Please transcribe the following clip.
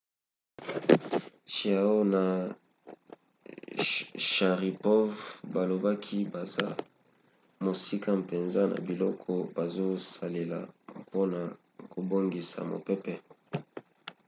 chiao na sharipov balobaki baza mosika mpenza na biloko bazosalela mpona kobongisa mopepe